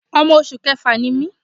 Ọmọ oṣù kẹfà ni mí.